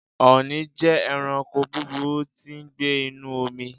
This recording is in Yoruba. Ọ̀nì jẹ́ ẹranko búburú tí ń gbé inúu omi.